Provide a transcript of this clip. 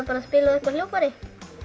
að spila á eitthvert hljóðfæri